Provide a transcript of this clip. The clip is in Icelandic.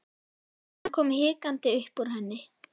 Hann kom hikandi upp úr henni.